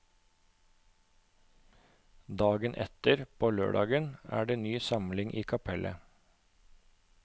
Dagen etter, på lørdagen, er det ny samling i kapellet.